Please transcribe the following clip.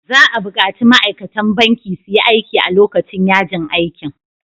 Za a bukaci ma'aikatan banki su yi aiki a lokacin yajin aikin.